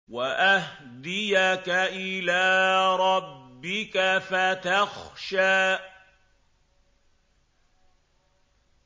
وَأَهْدِيَكَ إِلَىٰ رَبِّكَ فَتَخْشَىٰ